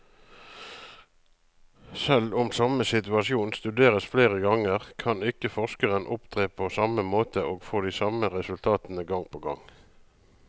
Selv om samme situasjon studeres flere ganger, kan ikke forskeren opptre på samme måte og få de samme resultatene gang på gang.